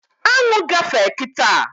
Aṅụ gafee kịta